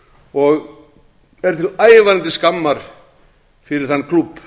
og er til ævarandi skammar fyrir þann klúbb